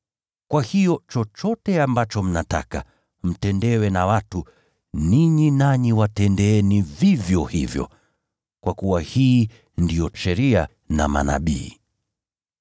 Kwa hiyo chochote mnachotaka mtendewe na watu, ninyi nanyi watendeeni vivyo hivyo. Kwa kuwa hii ndiyo Sheria na Manabii.